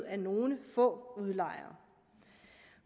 af nogle få udlejere